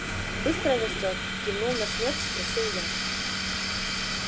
быстро растёт кивнул на смерч спросил я